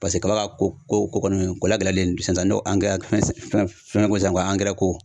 Paseke kaba ko ko kɔni ko lagɛlɛyalen sisan sisan ne ko fɛn ko san ko